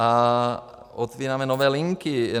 A otevíráme nové linky.